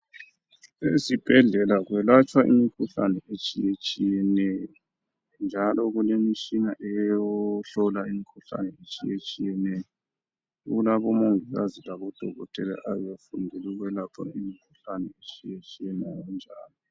Ezibhedlela kwelatshwa imikhuhlane etshiyetshiyeneyo, njalo kulemishina eyokuhlola imikhuhlane etshiyetshiyeneyo, kulabomongikazi labodokotela abafundela ukwelapha imikhuhlane etshiyetshiyeneyo ngokunjalo.